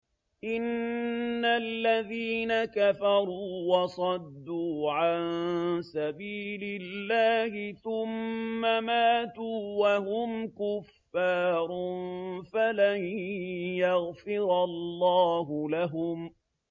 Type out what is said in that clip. إِنَّ الَّذِينَ كَفَرُوا وَصَدُّوا عَن سَبِيلِ اللَّهِ ثُمَّ مَاتُوا وَهُمْ كُفَّارٌ فَلَن يَغْفِرَ اللَّهُ لَهُمْ